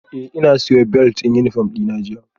Eh na siyo belt din uniform dina jiya